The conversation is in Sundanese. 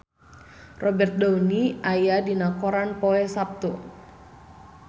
Robert Downey aya dina koran poe Saptu